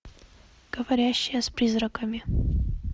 говорящая с призраками